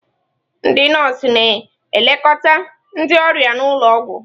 Ndị nọọsụ na-elekọta ndị ọrịa n'ụlọ ọgwụ.